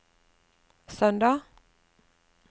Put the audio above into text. søndag